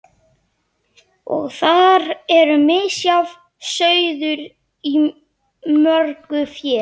Og þar er misjafn sauður í mörgu fé.